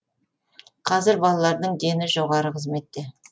қазір балаларының дені жоғары қызметте